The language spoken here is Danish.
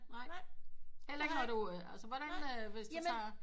Heller ikke når altså hvordan hvis du tager